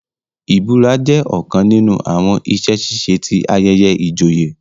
ìbura jẹ ọkàn nínú àwọn iṣẹ-ṣiṣe tí ayẹyẹ ìjòyè